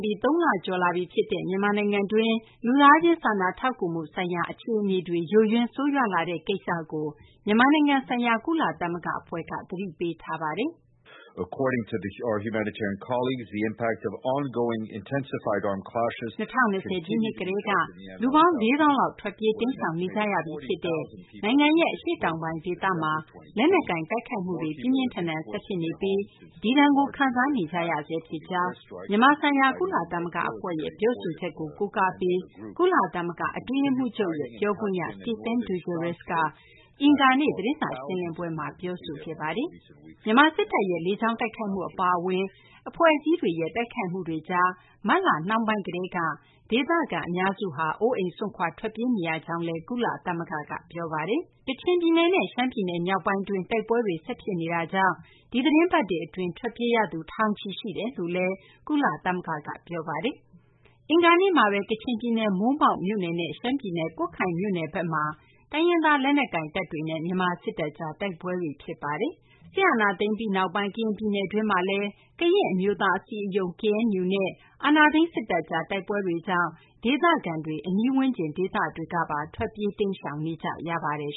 ပြီး ၃ လကျော်လာပြီ ဖြစ်တဲ့ မြန်မာနိုင်ငံတွင်း လူသားချင်း စာနာထောက်ကူမှု ဆိုင်ရာ အခြေအနေတွေ ယိုယွင်း ဆိုးရွားလာတဲ့ ကိစ္စကို မြန်မာနိုင်ငံဆိုင်ရာ ကုလသမဂ္ဂ အဖွဲ့က သတိပေးထားပါတယ်။ "၂၀၂၀ ပြည့်နှစ် ကတည်းက လူပေါင်း ၄ သောင်းခန့် ထွက်ပြေး တိမ်းရှောင်နေကြရပြီး ဖြစ်တဲ့ နိုင်ငံရဲ့ အရှေ့တောင်ပိုင်း ဒေသမှာ လက်နက်ကိုင် တိုက်ခိုက်မှုတွေ ပြင်းပြင်းထန်ထန် ဆက်ဖြစ်နေပြီး ဒီဒဏ်ကို ခံစားနေကြရကြောင်း" မြန်မာဆိုင်ရာ ကုလသမဂ္ဂ အဖွဲ့ရဲ့ ပြောဆိုချက်ကို ကိုးကားပြီး ကုလသမဂ္ဂ အတွင်းရေးမှူးချုပ်ရဲ့ ပြောခွင့်ရ Stephen Dujarric က အင်္ဂါနေ့ သတင်းစာ ရှင်းလင်းပွဲမှာ ပြောပါတယ်။ မြန်မာ စစ်တပ်ရဲ့ လေကြောင်း တိုက်ခိုက်မှု အပါအဝင် အဖွဲ့အစည်းတွေရဲ့ တိုက်ခိုက်မှုတွေကြောင့် မတ်လ နှောင်းပိုင်း ကတည်းက ဒေသခံ အများစုဟာ အိုးအိမ် စွန့်ခွာ ထွက်ပြေးနေရကြောင်းလည်း ကုလသမဂ္ဂက ပြောပါတယ်။ ကချင် ပြည်နယ်နဲ့ ရှမ်းပြည်နယ် မြောက်ပိုင်းတွင်း တိုက်ပွဲတွေ ဆက်ဖြစ်နေတာကြောင့် ဒီသီတင်းပတ်တွေ အတွင် ထွက်ပြေးရသူ ထောင်ချီ ရှိတယ်လို့လည်း ကုလသမဂ္ဂက ပြောဆိုထားပါတယ်။ အင်္ဂါနေ့မှာဘဲ ကချင်ပြည်နယ် မိုးမောက် မြို့နယ်နဲ့ ရှမ်းပြည်နယ် ကွတ်ခိုင်မြို့နယ်ဘက်မှာ တိုင်းရင်းသား လက်နက်ကိုင်တပ်တွေနဲ့ မြန်မာ စစ်တပ်ကြား တိုက်ပွဲတွေ ဖြစ်ခဲ့ပါတယ်။ စစ်အာဏာသိမ်းပြီးနောက်ပိုင်း ကရင်ပြည်နယ်တွင်းမှာလည်း ကရင့်လွတ်မြောက်ရေး အဖွဲ့ KNU နဲ့ အာဏာသိမ်း စစ်တပ်ကြား တိုက်ပွဲတွေကြောင့် ဒေသခံတွေ အနီးဝန်းကျင် ဒေသတွေကပါ ထွက်ပြေး တိမ်းရှောင်နေကြရပါတယ်